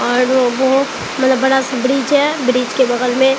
और वो मतलब बड़ा सा ब्रिज है ब्रिज के बगल में--